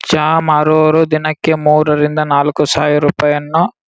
ಚಹಾ ಮಾರುವವರು ದಿನಕ್ಕೆ ಮೂರರಿಂದ ನಾಲಕ್ಕು ಸಾವಿರ್ ರೂಪಾಯಿಯನ್ನು.